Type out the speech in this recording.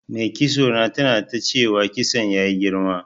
Mai kitso na tana ta cewa kitson ya yi girma.